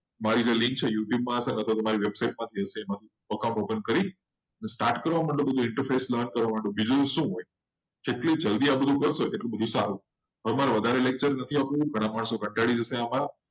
finally youtube પર છે. open કરી start કરો. બીજું શું જેટલું જલ્દી આ બધું કરશો. તમારે વધારે lecture નહીં જોવાના તમારે કાંટા દિવસોમાં